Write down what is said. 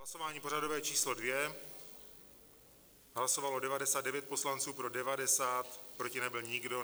Hlasování pořadové číslo 2, hlasovalo 99 poslanců, pro 90, proti nebyl nikdo.